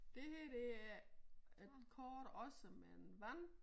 Det her det er et kort også med en vand